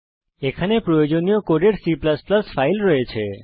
এখানে প্রয়োজনীয় কোডের সাথে C ফাইল রয়েছে